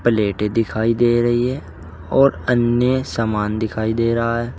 प्लेटें दिखाई दे रही है और अन्य सामान दिखाई पड़ रहा है।